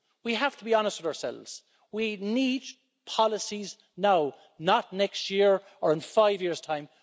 We have to be honest with ourselves we need policies now not next year or in five years' time.